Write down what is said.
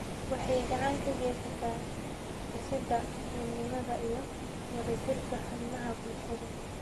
Waxay gacan ka geysataa dhisidda midnimada iyo wadajirka xubnaha bulshada.